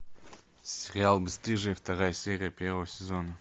сериал бесстыжие вторая серия первого сезона